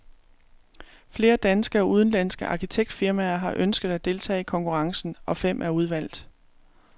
Flere danske og udenlandske arkitektfirmaer har ønsket at deltage i konkurrencen, og fem er udvalgt.